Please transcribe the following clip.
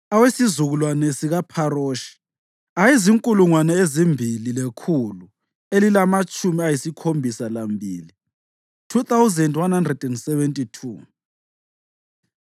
awesizukulwane sikaPharoshi ayezinkulungwane ezimbili lekhulu elilamatshumi ayisikhombisa lambili (2,172),